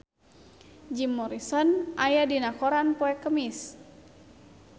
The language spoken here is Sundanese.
Jim Morrison aya dina koran poe Kemis